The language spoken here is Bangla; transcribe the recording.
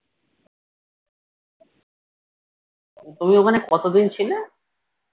তুমি ওখানে কতদিন ছিলে?